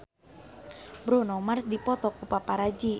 Bruno Mars dipoto ku paparazi